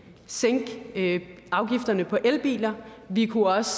sænke afgifterne på elbiler vi kunne også